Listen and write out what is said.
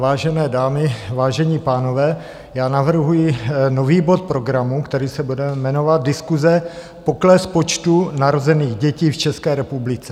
Vážené dámy, vážení pánové, já navrhuji nový bod programu, který se bude jmenovat Diskuse - pokles počtu narozených dětí v České republice.